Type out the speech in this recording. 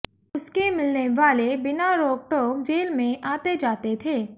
उसके मिलने वाले बिना रोकटोक जेल में आते जाते थे